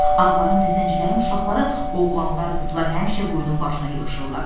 Ağların və zəncilərin uşaqları, oğlanlar, qızlar həmişə quyunun başına yığışırlar.